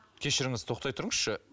кешіріңіз тоқтай тұрыңызшы